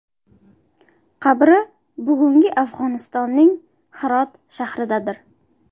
Qabri bugungi Afg‘onistonning Hirot shahridadir.